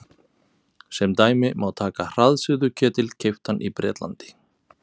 Sem dæmi má taka hraðsuðuketil keyptan í Bretlandi.